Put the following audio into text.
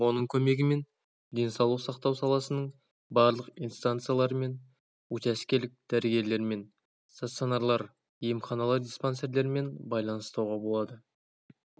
оның көмегімен денсаулық сақтау саласының барлық инстанцияларымен учаскелік дәрігерлермен стационарлар емханалар диспансерлермен байланыс ұстауға болады